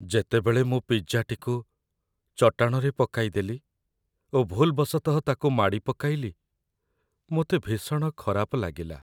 ଯେତେବେଳେ ମୁଁ ପିଜ୍ଜାଟିକୁ ଚଟାଣରେ ପକାଇଦେଲି ଓ ଭୁଲ୍‌ବଶତଃ ତା'କୁ ମାଡ଼ିପକାଇଲି, ମୋତେ ଭୀଷଣ ଖରାପ ଲାଗିଲା।